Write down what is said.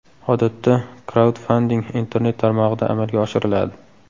Odatda kraudfanding internet tarmog‘ida amalga oshiriladi.